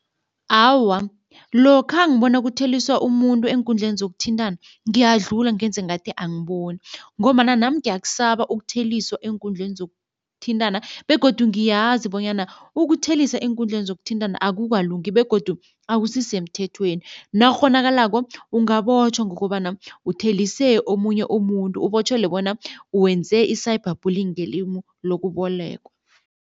Awa, lokha ngibona kutheliswa umuntu eenkundleni zokuthintana ngiyadlula ngenze ngathi angiboni ngombana nami ngiyakusaba ukutheliswa eenkundleni zokuthintana begodu ngiyazi bonyana ukuthelisa eenkundleni zokuthintana akukalungi begodu akusisemthethweni. Nakukghonakalako ungabotjhwa ngokobana uthelise omunye umuntu, ubotjhelwe bona wenze i-cyber bullying ngelimi lokubolekwa.